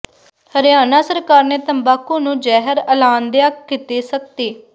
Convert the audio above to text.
ਹਰਿਆਣਾ ਸਰਕਾਰ ਨੇ ਤੰਬਾਕੂ ਨੂੰ ਜ਼ਹਿਰ ਐਲਾਨਦਿਆਂ ਕੀਤੀ ਸਖਤੀ